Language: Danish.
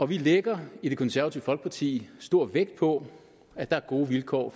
vi lægger i det konservative folkeparti stor vægt på at der er gode vilkår